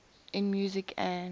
in music an